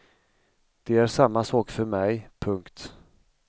Det är samma sak för mig. punkt